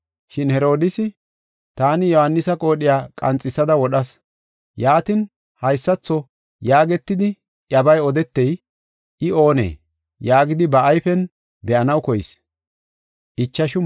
Shin Herodiisi, “Taani Yohaanisa qoodhiya qanxisada wodhas. Yaatin, haysatho yaagetidi iyabaa odetey, I oonee?” yaagidi ba ayfen be7anaw koyees.